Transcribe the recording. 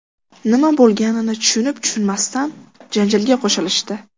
Nima bo‘lganini tushunib-tushunmasdan janjalga qo‘shilishdi.